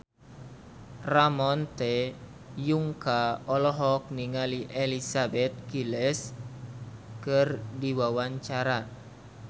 Ramon T. Yungka olohok ningali Elizabeth Gillies keur diwawancara